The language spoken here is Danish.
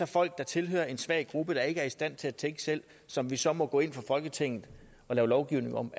folk der tilhører en svag gruppe der ikke er i stand til at tænke selv som vi så må gå ind fra folketinget og lave lovgivning om